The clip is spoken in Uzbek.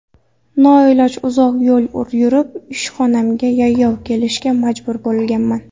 Noiloj, uzoq yo‘l yurib, ishxonamga yayov kelishga majbur bo‘lganman.